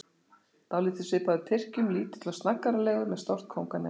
Dálítið svipaður Tyrkjum, lítill og snaggaralegur, með stórt kónganef.